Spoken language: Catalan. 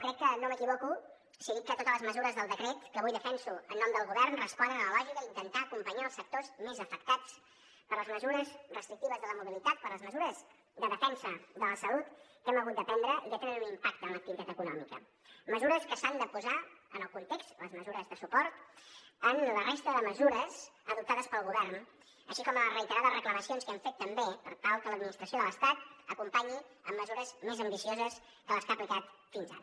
crec que no m’equivoco si dic que totes les mesures del decret que avui defenso en nom del govern responen a la lògica d’intentar acompanyar els sectors més afectats per les mesures restrictives de la mobilitat per les mesures de defensa de la salut que hem hagut de prendre i que tenen un impacte en l’activitat econòmica mesures que s’han de posar en el context les mesures de suport de la resta de mesures adoptades pel govern així com les reiterades reclamacions que hem fet també per tal que l’administració de l’estat acompanyi amb mesures més ambicioses que les que ha aplicat fins ara